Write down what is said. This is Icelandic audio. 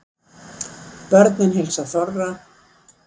Börnin heilsa þorra